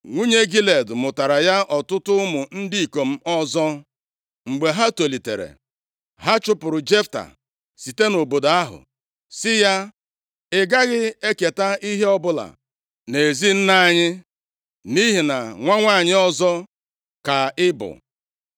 Nwunye Gilead mụtaara ya ọtụtụ ụmụ ndị ikom ọzọ. Mgbe ha tolitere, ha chụpụrụ Jefta site nʼobodo ahụ, sị ya, “Ị gaghị eketa ihe ọbụla nʼezi nna anyị, nʼihi na nwa nwanyị ọzọ ka ị bụ.”